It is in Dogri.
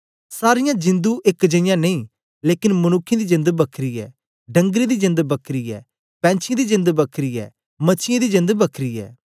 सारीयां जिंदु एक जेईयां नेई लेकन मनुक्खें दी जेंद बखरी ऐ डंगरें दी जेंद बखरी ऐ पैंछीयें दी जेंद बखरी ऐ मछीयें दी जेंद बखरी ऐ